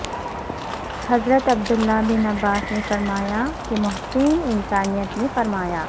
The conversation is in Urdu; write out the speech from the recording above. حضرت عبداللہ بن عباس نے فرمایا کہ محسن انسانیت نے فرمایا